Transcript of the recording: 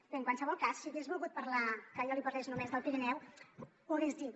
bé en qualsevol cas si hagués volgut que jo li parlés només del pirineu ho hagués dit